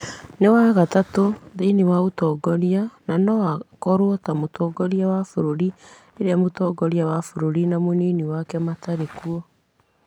nĩ wa gatatũ thĩinĩ wa ũtongoria na no akorwo ta mũtongoria wa bũrũri rĩrĩa mũtongoria wa bũrũri na mũnini wake matarĩ kuo.